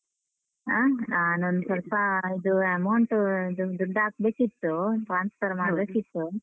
ಆ? ನಾನೊಂದ್ ಸ್ವಲ್ಪಾ ಇದು amount ಇದು ದುಡ್ಡಾಕ್ಬೇಕಿತ್ತು. transfer ಮಾಡ್ಬೇಕಿತ್ತು.